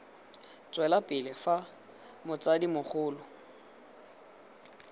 tswela pele fa motsadi mogolo